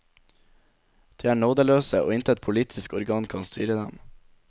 De er nådeløse, og intet politisk organ kan styre dem.